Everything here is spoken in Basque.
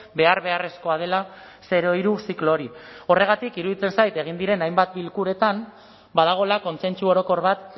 behar beharrezkoa dela zero hiru ziklo hori horregatik iruditzen zait egin diren hainbat bilkuretan badagoela kontsentsu orokor bat